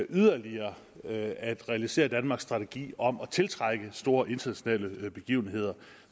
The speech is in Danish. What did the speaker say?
yderligere at realisere danmarks strategi om at tiltrække store internationale begivenheder